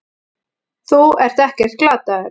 Þú ert ekkert glataður.